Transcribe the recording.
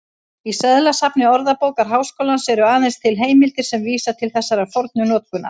Í seðlasafni Orðabókar Háskólans eru aðeins til heimildir sem vísa til þessarar fornu notkunar.